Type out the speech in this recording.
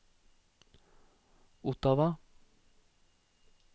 Ottawa